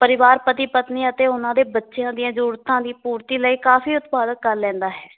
ਪਰਿਵਾਰ ਪਤੀ ਪਤਨੀ ਅਤੇ ਉਹਨਾਂ ਦੇ ਬੱਚਿਆਂ ਦੀਆਂ ਜਰੂਰਤਾਂ ਦੀ ਪੂਰਤੀ ਲਈ ਕਾਫੀ ਉਤਪਾਦਕ ਕਰ ਲੈਂਦਾ ਹੈ